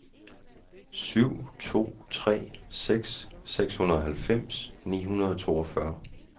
syv to tre seks seksoghalvfems ni hundrede og toogfyrre